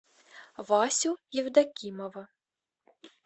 васю евдокимова